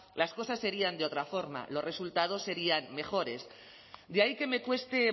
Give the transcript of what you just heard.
las cosas serían de otra forma los resultados serían mejores de ahí que me cueste